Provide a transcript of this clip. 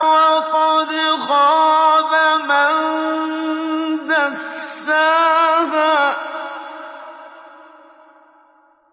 وَقَدْ خَابَ مَن دَسَّاهَا